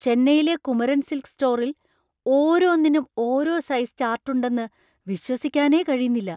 ചെന്നൈയിലെ കുമരൻ സിൽക്സ് സ്റ്റോറിൽ ഓരോന്നിനും ഓരോ സൈസ് ചാർട്ട് ഉണ്ടെന്ന് വിശ്വസിക്കാനേ കഴിയുന്നില്ല.